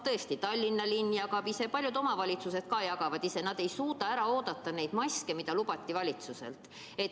Tõesti, Tallinna linn jagab ise, paljud omavalitsused jagavad ise, nad ei suuda ära oodata neid maske, mida valitsus lubas.